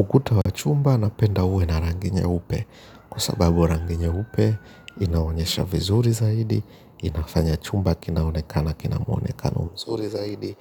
Ukuta wa chumba napenda uwe na rangi nyeupe, kwa sababu rangi nyeupe inaonyesha vizuri zaidi, inafanya chumba kinaonekana kina mwonekano mzuri zaidi,